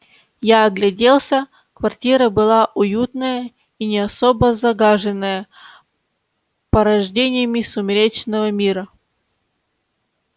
я огляделся квартира была уютная и не особо загаженная порождениями сумеречного мира